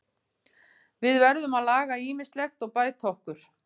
Við verðum að laga ýmislegt og bæta okkur.